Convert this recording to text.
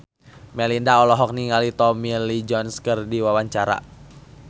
Melinda olohok ningali Tommy Lee Jones keur diwawancara